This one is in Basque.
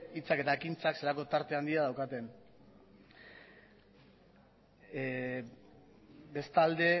hitzak eta ekintzak zelako tarte handia daukaten bestalde